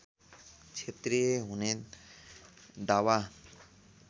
क्षेत्रीय हुने दावा